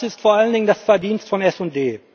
Das ist vor allen Dingen das Verdienst von SD.